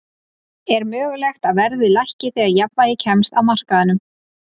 Er mögulegt að verðið lækki þegar jafnvægi kemst á á markaðnum?